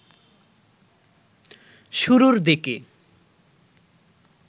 শুরুর দিকে